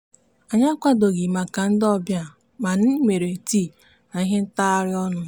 Ànyị akwadọghị maka ndị ọbịa manà ànyị mere tii na ịhe ńntagharị ọnụ.